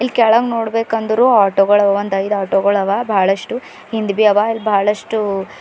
ಕೇಳ್ಗ್ ನೋಡಬೇಕಾನ್ದ್ರು ಆಟೋ ಗಳ ಅವ್ ಒಂದ್ ಐದು ಆಟೋ ಗಳ ಅವ ಹಿಂದಬಿ ಅವ ಅಲ್ಲಿ ಬಹಳಷ್ಟ--